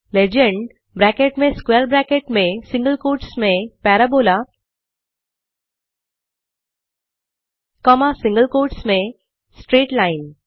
legend bracket में square bracket में single quotes मिएन parabolaकॉमा सिंगल क्वोट्स में स्ट्रेट लाइन